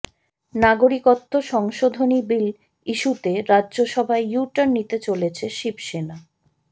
নাগরিকত্ব সংশোধনী বিল ইস্যুতে রাজ্যসভায় ইউটার্ন নিতে চলেছে শিবসেনা